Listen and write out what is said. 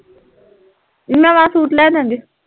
ਨਵਾਂ ਸੂਟ ਲੈਦਾਂਗੇ